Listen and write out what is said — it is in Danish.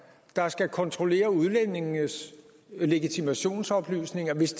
der skal kontrollere udlændingenes legitimationsoplysninger hvis